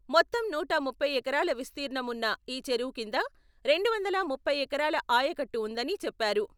మొత్తం నూట ముప్పై ఎకరాల విస్తీర్ణం ఉన్న ఈ చెరువు కింద రెండు వందల ముప్పై ఎకరాల ఆయకట్టు ఉందని, చెప్పారు.